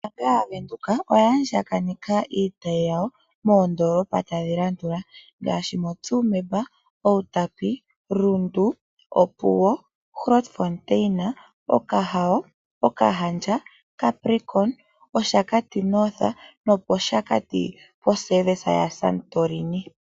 Ombaanga yaVenduka oya andjaganeka iitayi yawo, moondoolopa ta dhi landula, ngaashi moTsumeb, Uutapi, Rundu , opuwo, Okahao, capricorn, Oshakati north, Okahandja, Grootfontein nosho woo mOshakati Santorini service.